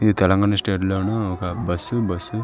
ఇది తెలంగాణ స్టేట్ లోని ఒక బస్సు --